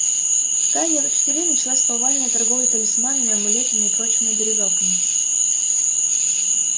в тайне от учителей началась повальная торговля талисманами амулетами и прочими оберегалками